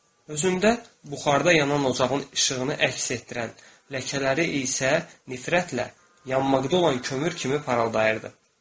Özündə buxarda yanan ocağın işığını əks etdirən ləkələri isə nifrətlə yanmaqda olan kömür kimi parıldayırdı.